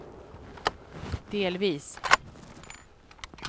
delvis